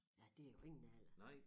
Ja det jo ingen alder